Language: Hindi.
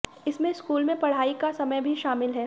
इसमें स्कूल में पढ़ाई का समय भी शामिल है